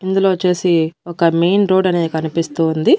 ఇందులో వచ్చేసి ఒక మెయిన్ రోడ్ అనేది కనిపిస్తూ ఉంది.